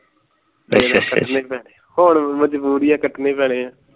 ਮਜਬੂਰੀ ਹੈ ਕੱਟਣੇ ਹੀ ਪੈਣੇ ਹੈ